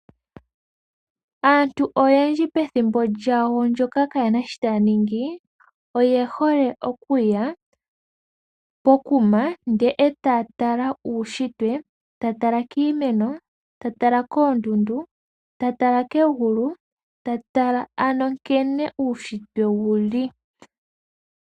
Aantu oyendji pethimbo lyawo ndyoka kaayena sho taa ningi, oye hole okuya pokuma ndele e ta tala uushitwe, ta tala kiimeno, ta tala koondundu, ta tala kegulu ,tala ano nkene uushitwe wuli.